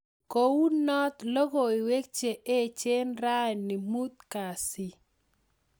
Ko unot: logoiwek che echen rani mutkasi.